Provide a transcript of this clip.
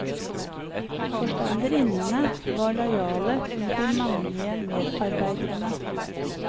Forstanderinnene var lojale mot de mannlige medarbeiderne.